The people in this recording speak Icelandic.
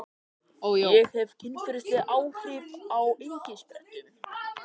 Fregn, bókaðu hring í golf á miðvikudaginn.